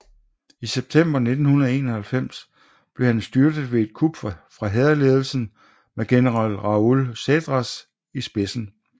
I september 1991 blev han styrtet ved et kup fra hærledelsen med general Raoul Cédras i spidsen